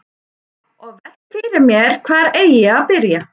Og velti fyrir mér hvar eigi að byrja.